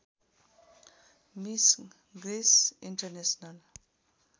miss Greece international